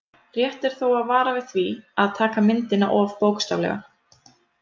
Rétt er þó að vara við því að taka myndina of bókstaflega.